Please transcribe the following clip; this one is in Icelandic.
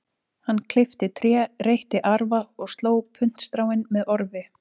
Hann klippti tré, reytti arfa og sló puntstráin með orfi.